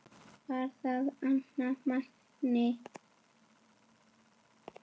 Var það annar Magni?